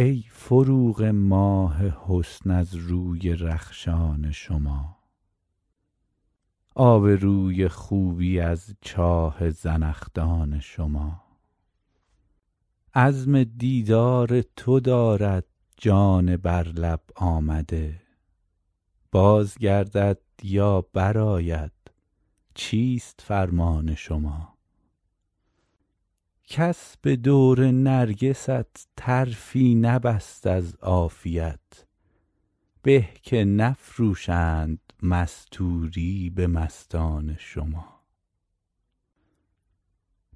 ای فروغ ماه حسن از روی رخشان شما آب روی خوبی از چاه زنخدان شما عزم دیدار تو دارد جان بر لب آمده باز گردد یا برآید چیست فرمان شما کس به دور نرگست طرفی نبست از عافیت به که نفروشند مستوری به مستان شما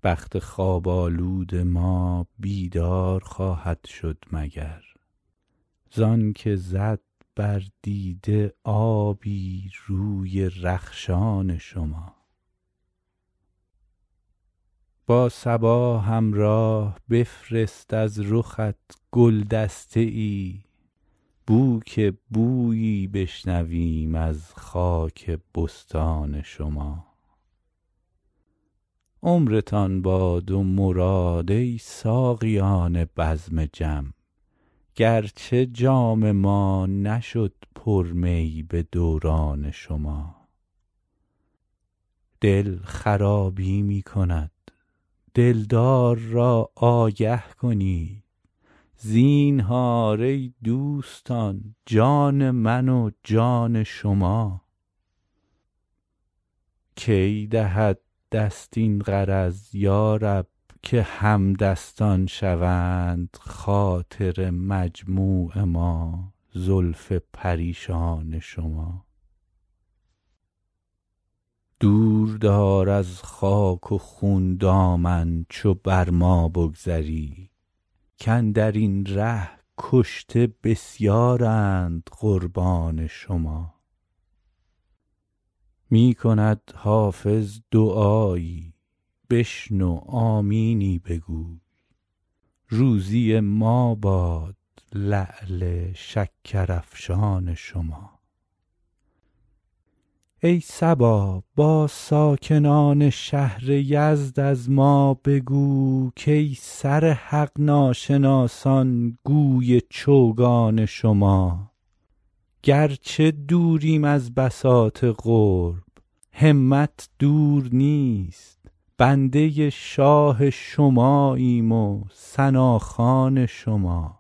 بخت خواب آلود ما بیدار خواهد شد مگر زان که زد بر دیده آبی روی رخشان شما با صبا همراه بفرست از رخت گل دسته ای بو که بویی بشنویم از خاک بستان شما عمرتان باد و مراد ای ساقیان بزم جم گرچه جام ما نشد پر می به دوران شما دل خرابی می کند دلدار را آگه کنید زینهار ای دوستان جان من و جان شما کی دهد دست این غرض یا رب که همدستان شوند خاطر مجموع ما زلف پریشان شما دور دار از خاک و خون دامن چو بر ما بگذری کاندر این ره کشته بسیارند قربان شما می کند حافظ دعایی بشنو آمینی بگو روزی ما باد لعل شکرافشان شما ای صبا با ساکنان شهر یزد از ما بگو کای سر حق ناشناسان گوی چوگان شما گرچه دوریم از بساط قرب همت دور نیست بنده شاه شماییم و ثناخوان شما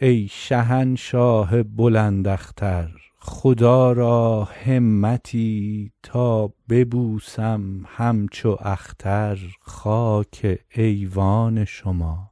ای شهنشاه بلند اختر خدا را همتی تا ببوسم همچو اختر خاک ایوان شما